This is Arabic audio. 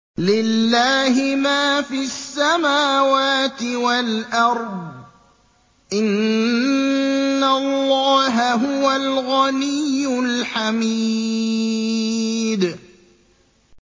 لِلَّهِ مَا فِي السَّمَاوَاتِ وَالْأَرْضِ ۚ إِنَّ اللَّهَ هُوَ الْغَنِيُّ الْحَمِيدُ